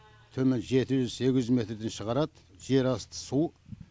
төмен жеті жүз сегіз жүз метрден шығарады жер асты су